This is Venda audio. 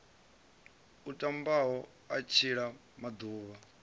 a tamaho u tshila maḓuvha